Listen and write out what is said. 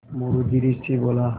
मोरू धीरे से बोला